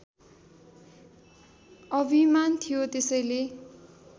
अभिमान थियो त्यसैले